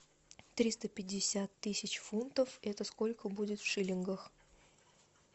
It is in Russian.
триста пятьдесят тысяч фунтов это сколько будет в шиллингах